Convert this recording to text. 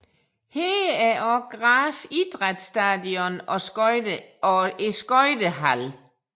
Her er også Graz idrætsstadion og skøjtehallen